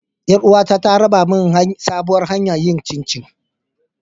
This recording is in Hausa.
Yar uwata ta raba min sabuwar hanyar yin chinchi.